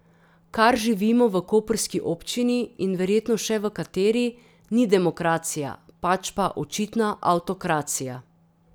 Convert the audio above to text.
Kar živimo v koprski občini in verjetno še v kateri, ni demokracija, pač pa očitna avtokracija.